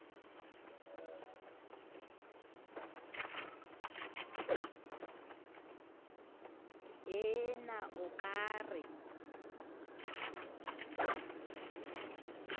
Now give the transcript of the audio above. ee na o ka re